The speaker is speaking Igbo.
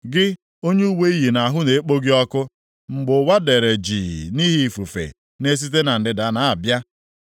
Gị onye uwe i yi nʼahụ na-ekpo gị ọkụ mgbe ụwa dere jii nʼihi ifufe na-esite na ndịda na-abịa,